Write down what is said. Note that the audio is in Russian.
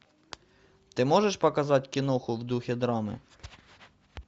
ты можешь показать киноху в духе драмы